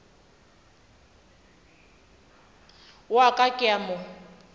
wa ka ke a mo